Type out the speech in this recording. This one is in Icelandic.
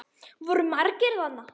Voru margir þarna?